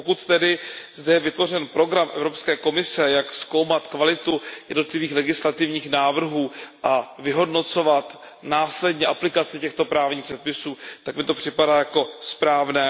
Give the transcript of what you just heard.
Pokud tedy zde je vytvořen program Evropské komise, jak zkoumat kvalitu jednotlivých legislativních návrhů a vyhodnocovat následně aplikaci těchto právních předpisů, tak mi to připadá jako správné.